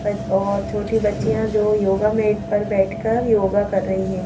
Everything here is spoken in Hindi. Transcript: और छोटी बच्चियां जो योगा मेट पर बैठकर योगा कर रही हैं।